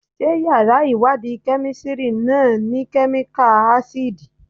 Ṣé yàrá ìwádìí Kẹ́mísítírì náà ni Kẹ́míkà ásídì?